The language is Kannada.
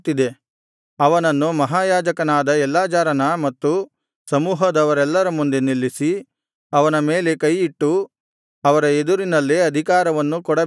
ಅವನನ್ನು ಮಹಾಯಾಜಕನಾದ ಎಲ್ಲಾಜಾರನ ಮತ್ತು ಸಮೂಹದವರೆಲ್ಲರ ಮುಂದೆ ನಿಲ್ಲಿಸಿ ಅವನ ಮೇಲೆ ಕೈಯಿಟ್ಟು ಅವರ ಎದುರಿನಲ್ಲೇ ಅಧಿಕಾರವನ್ನು ಕೊಡಬೇಕು